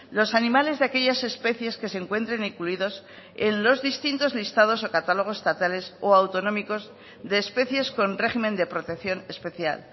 los animales de aquellas especies que se encuentren incluidos en los distintos listados o catálogos estatales o autonómicos de especies con régimen de protección especial